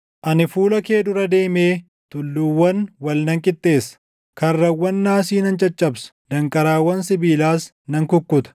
Ani fuula kee dura deemee tulluuwwan wal nan qixxeessa; karrawwan naasii nan caccabsa; danqaraawwan sibiilaas nan kukkuta.